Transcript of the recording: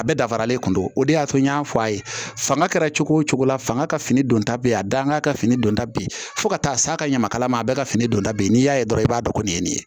A bɛɛ dafalen kun don o de y'a to n y'a fɔ a ye fanga kɛra cogo o cogo la fanga ka fini don ta be yen a danga ka fini don ta be yen fo ka taa s'a ka ɲamakalama a bɛɛ ka fini don da min be n'i y'a ye dɔrɔn i b'a dɔn kɔni ye nin ye nin ye